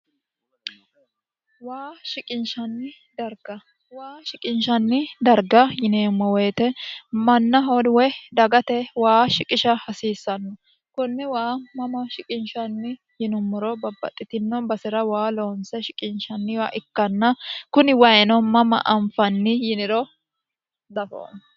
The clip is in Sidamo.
waa shiqinshanni darga waa shiqinishanni darga yineemmo woyite mannaho woy dagate waa shiqisha hasiissanno konne waa mama shiqinshanni yinummoro babbaxxitino basera waa loonse shiqinshanniwa ikkanna kuni wayino mama anfanni yiniro dafo